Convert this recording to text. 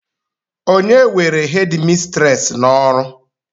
onye were hédmistrés n'ọrụ